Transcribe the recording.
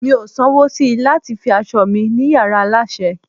mi o san wo sí lati fi aso mi ni yara aláṣẹ